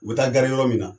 U bɛ taa gare yɔrɔ min na